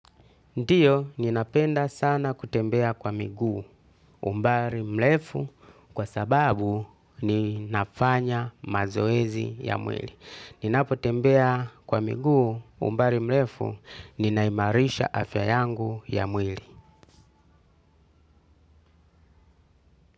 Ndiyo ninapenda sana kutembea kwa miguu umbari mlefu kwa sababu ninafanya mazoezi ya mwili. Ninapotembea kwa miguu umbari mlefu ninaimarisha afya yangu ya mwili.